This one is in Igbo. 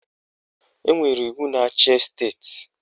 Enwere iwu na-achị esteti